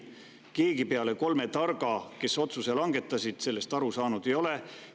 Mitte keegi peale kolme targa, kes otsuse langetasid, sellest aru saanud ei ole.